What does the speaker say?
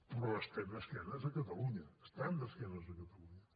però estan d’esquena a catalunya estan d’esquena a catalunya